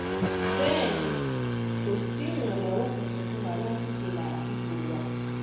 bẹ́ẹ̀ ni kò sí ìrànlọ́wọ́ kankan fún wa lásìkò làásìgbò wa